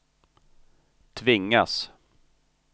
tvingas